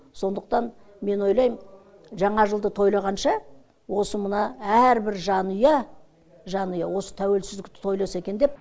сондықтан мен ойлаймын жаңа жылды тойлағанша осы мына әрбір жанұя жанұя осы тәуелсіздікті тойласа екен деп